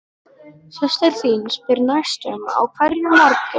Systir þín spyr næstum á hverjum morgni